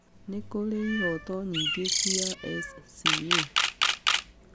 Nĩ kũrĩ ihoto nyingĩ cia SCA.